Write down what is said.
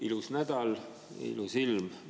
Ilus nädal, ilus ilm.